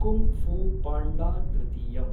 Kung fu panda तृतीयम्।